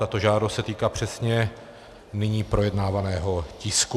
Tato žádost se týká přesně nyní projednávaného tisku.